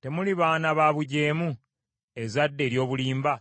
Temuli baana ba bujeemu, ezzadde eryobulimba?